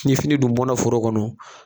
Kile fini dun bɔnna foro kɔnɔ